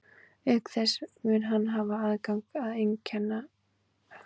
Auk þess mun hann hafa haft aðgang að einkakennurum að vild í æsku.